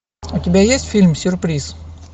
у тебя есть фильм сюрприз